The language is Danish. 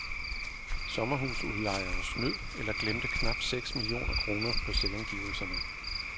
Sommerhusudlejere snød eller glemte knap seks millioner kroner på selvangivelserne.